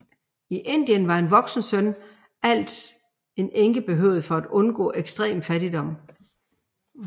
I Indien var en voksen søn alt en enke behøvede for at undgå ekstrem fattigdom